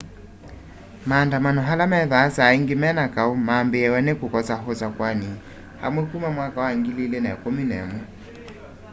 maandamano ala methwaa saa ingi me na kau mambiiaw'a ni kukosa usakuani amwe kuma 2011